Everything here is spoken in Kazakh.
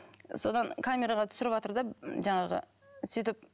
содан камераға түсіріватыр да жаңағы сөйтіп